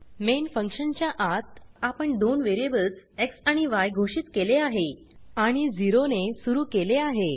main function च्या आत आपण दोन वेरीएबल्स एक्स आणि य घोषित केले आहे आणि 0 ने सुरू केले आहे